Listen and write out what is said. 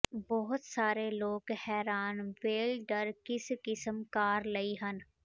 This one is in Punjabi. ਬਹੁਤ ਸਾਰੇ ਲੋਕ ਹੈਰਾਨ ਵੈਲ ਡਰ ਕਿਸ ਕਿਸਮ ਕਾਰ ਲਈ ਹਨ